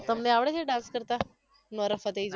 તમને આવડે છે dance કરતા નોરા ફતેહી જેવો